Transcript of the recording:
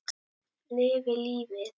Lifi lífið!